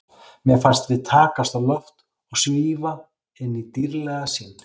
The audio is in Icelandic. Mér fannst við takast á loft og svífa inn í dýrðlega sýn.